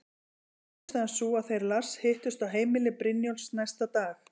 Varð niðurstaðan sú að þeir Lars hittust á heimili Brynjólfs næsta dag.